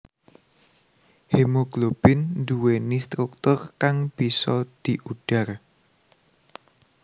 Hemoglobin nduwèni struktur kang bisa diudhar